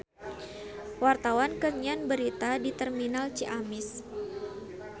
Wartawan keur nyiar berita di Terminal Ciamis